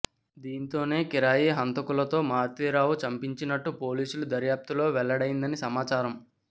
దీంతోనే కిరాయి హంతకులతో మారుతీరావు చంపించినట్టు పోలీసుల దర్యాప్తులో వెల్లడైందని సమాచారం